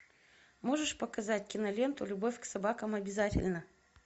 можешь показать киноленту любовь к собакам обязательна